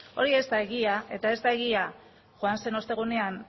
hori ez da egia eta ez da egia joan zen ostegunean